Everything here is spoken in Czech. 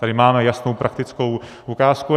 Tady máme jasnou praktickou ukázku.